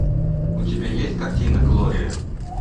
у тебя есть картина глория